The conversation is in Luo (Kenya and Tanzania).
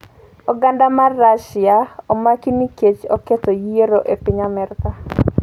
Oganda mar Russia omaki nikech oketho yiero e piny Amerka